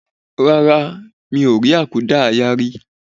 Rárá, mi ò rí àkúdáàyá rí